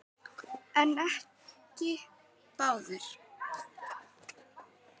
En ekki báðir.